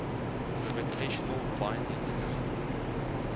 gravitational binding energy